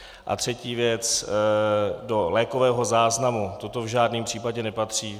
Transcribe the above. A třetí věc - do lékového záznamu toto v žádném případě nepatří.